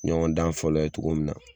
Ɲɔgɔndan fɔlɔ ye cogo min na.